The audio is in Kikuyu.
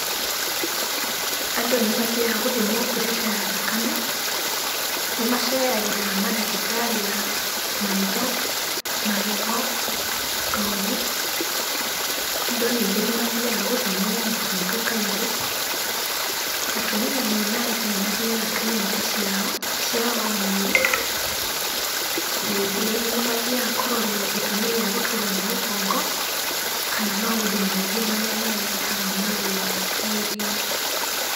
Andũ nĩmathiaga gũthimwo pressure ya thakame, nĩmaceragĩra mandagĩtarĩ a maitho, magego, ngothi, andũ ningĩ nĩmathiaga gũthimwo mũkingo kaingĩ, atumia mena nda nĩmathiaga kiriniki ciao cia o mweri, ningĩ nĩmathiaga kũrorwo gĩtũmi gĩa gũturwo nĩ mũgongo, kana maũndũ maingĩ marĩa marehaga maruo mwĩrĩ-inĩ.